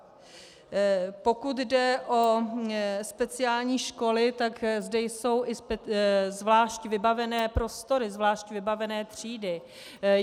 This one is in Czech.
Pokud jde o speciální školy, tak zde jsou i zvlášť vybavené prostory, zvlášť vybavené třídy.